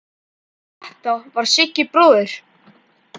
Þetta var Siggi bróðir.